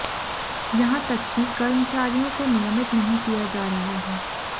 यहाँ तक की कर्मचारियों को नियमित नहीं किया जा रहा है